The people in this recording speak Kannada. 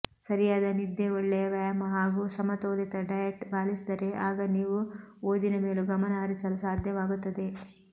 ಸರಿಯಾದ ನಿದ್ದೆ ಒಳ್ಳೆಯ ವ್ಯಾಯಾಮ ಹಾಗೂ ಸಮತೋಲಿತ ಡಯೆಟ್ ಪಾಲಿಸಿದರೆ ಆಗ ನೀವು ಓದಿನ ಮೇಲೂ ಗಮನ ಹರಿಸಲು ಸಾಧ್ಯವಾಗುತ್ತದೆ